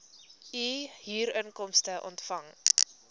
u huurinkomste ontvang